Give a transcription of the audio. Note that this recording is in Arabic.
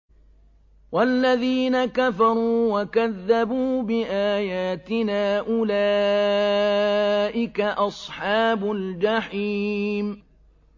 وَالَّذِينَ كَفَرُوا وَكَذَّبُوا بِآيَاتِنَا أُولَٰئِكَ أَصْحَابُ الْجَحِيمِ